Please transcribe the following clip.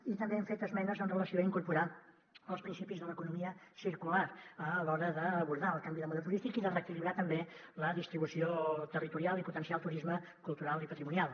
i també hem fet esmenes amb relació a incorporar els principis de l’economia circular a l’hora d’abordar el canvi de model turístic i de reequilibrar també la distribució territorial i potenciar el turisme cultural i patrimonial